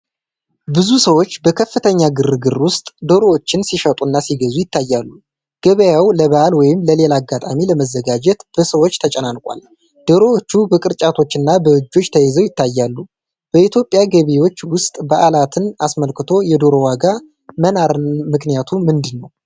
ብዙ ሰዎች በከፍተኛ ግርግር ውስጥ ዶሮዎችን ሲሸጡና ሲገዙ ይታያሉ። ገበያው ለበዓል ወይም ለሌላ አጋጣሚ ለመዘጋጀት በሰዎች ተጨናንቋል። ዶሮዎቹ በቅርጫቶችና በእጆች ተይዘው ይታያሉ። በኢትዮጵያ ገበያዎች ውስጥ በዓላትን አስመልክቶ የዶሮ ዋጋ መናር ምክንያቱ ምንድን ነው?